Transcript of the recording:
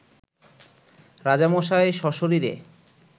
রাজামশাই সশরীরে